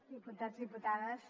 diputats i diputades